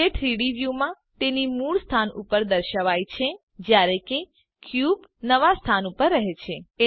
તે 3ડી વ્યુંમાં તેની મૂળ સ્થાન ઉપર દર્શાવાય છે જયારે કે ક્યુબ નવા સ્થાન ઉપર રહે છે